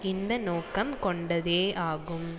இந்த நோக்கம் கொண்டதேயாகும்